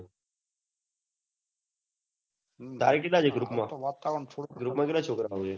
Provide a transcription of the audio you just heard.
તારે કેટલા છે group માં group માં કેટલા છોકરા છે